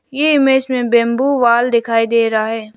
ये इमेज में bamboo wall दिखाई दे रहा है।